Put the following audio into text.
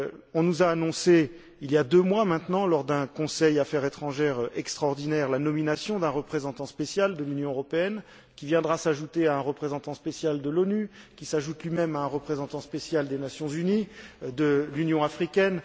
On nous a annoncé, il y a deux mois maintenant, lors d'un Conseil Affaires étrangères extraordinaire, la nomination d'un représentant spécial de l'Union européenne, qui viendra s'ajouter à un représentant spécial de l'ONU, qui s'ajoute lui même à un représentant spécial de l'Union africaine.